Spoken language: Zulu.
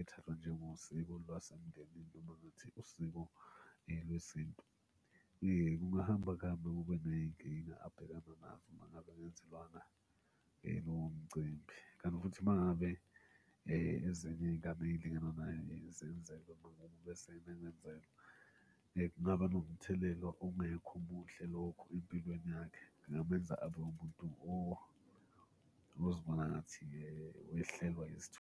ethathwa njengosiko lwasemndenini noma ngathi usiko lwesintu. Kungahamba kuhambe kube ney'nkinga abhekana nazo uma ngabe engenzelwanga lowo mcimbi, kanti futhi, uma ngabe ezinye iy'ngabe ey'lingana naye zenzelwe bese yena engenzelwa, kungaba nomthelela ongekho muhle lokho empilweni yakhe. Kungamenza abe umuntu ozibona ngathi-ke wehlelwa .